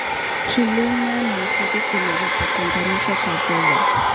Kilimo na misitu vinaweza kuunganishwa kwa faida.